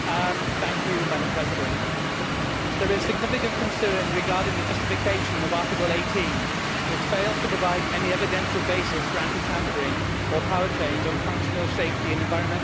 Madam President, there is significant concern regarding the justification of Article 18, which fails to provide any evidential basis for anti tampering or for powertrains on functional safety and environmental grounds.